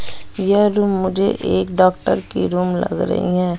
यह रूम मुझे एक डॉक्टर की रूम लग रही है।